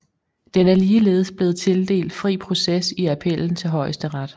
Den er ligeledes blevet tildelt fri proces i appellen til Højesteret